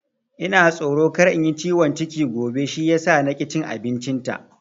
Ina tsoro kar in yi ciwon ciki gobe shi yasa na ki cin abincin ta